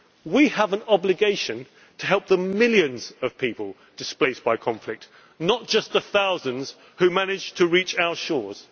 around Syria. We have an obligation to help the millions of people displaced by conflict, not just the thousands who managed to reach